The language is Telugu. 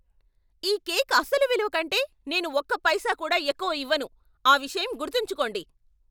ఈ కేక్ అసలు విలువ కంటే నేను ఒక్క పైసా కూడా ఎక్కువ ఇవ్వను! ఆ విషయం గుర్తుంచుకోండి!